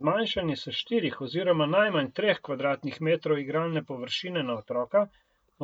Zmanjšanje s štirih oziroma najmanj treh kvadratnih metrov igralne površine na otroka